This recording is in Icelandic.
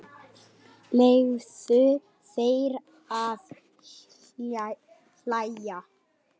Leyfðu þér að hlæja.